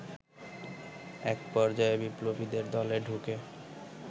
এক পর্যায়ে বিপ্লবীদের দলে ঢুকে